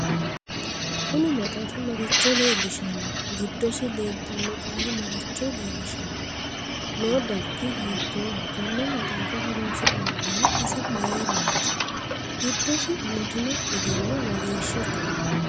Kunni maxaafi maricho leelishano giddoso leeltanno qaalla maricho leelishano noo darggi hiitoho konne maxaafa horoonsinanihu isi mayiirati giddosi amadino eggeno mageeshite